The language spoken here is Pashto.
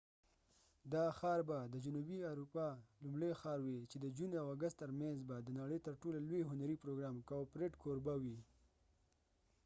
دا ښار به د جنوبی اروپا لومړۍ ښار وي چې د جون او اګست تر منځ به د نړی تر ټولو لوي هنری پروګرام کاوپریډ کوربه وي